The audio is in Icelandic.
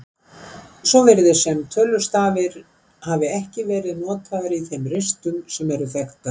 Svo virðist sem tölustafir hafi ekki verið notaðir í þeim ristum sem eru þekktar.